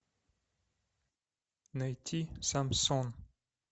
найти самсон